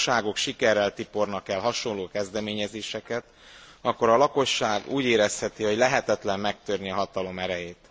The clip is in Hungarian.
Ha a hatóságok sikerrel tipornak el hasonló kezdeményezéseket, akkor a lakosság úgy érezheti, hogy lehetetlen megtörni a hatalom erejét.